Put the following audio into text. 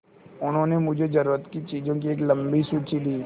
उन्होंने मुझे ज़रूरत की चीज़ों की एक लम्बी सूची दी